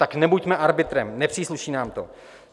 Tak nebuďme arbitrem, nepřísluší nám to.